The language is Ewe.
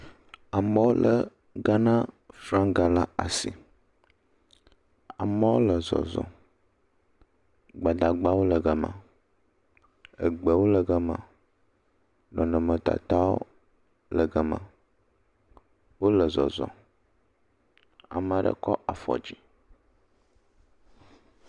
Amewo lé Ghana fraŋga le asi. Amewo le zɔzɔm. Gbadagbawo le gama. Egbewo le gama. Nɔnɔmetatawo le gama. Wole zɔzɔ. Ame aɖe kɔ afɔ dzi